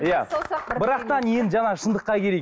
иә бірақ та енді жаңағы шындыққа келейік